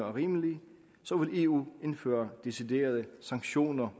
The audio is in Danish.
er rimelig så vil eu indføre deciderede sanktioner